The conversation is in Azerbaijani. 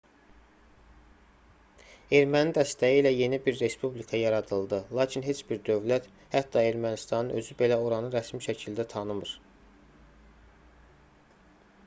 erməni dəstəyi ilə yeni bir respublika yaradıldı lakin heç bir dövlət hətta ermənistanın özü belə oranı rəsmi şəkildə tanımır